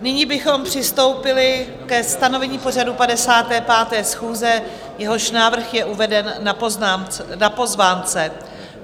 Nyní bychom přistoupili ke stanovení pořadu 55. schůze, jehož návrh je uveden na pozvánce.